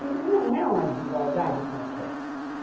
E ele não é uma desigualdade qualquer.